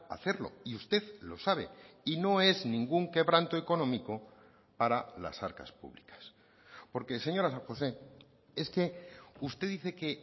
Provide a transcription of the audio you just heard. hacerlo y usted lo sabe y no es ningún quebranto económico para las arcas públicas porque señora san josé es que usted dice que